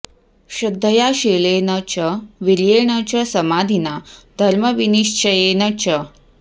श्रद्धया शीलेन च वीर्येण च समाधिना धर्मविनिश्चयेन च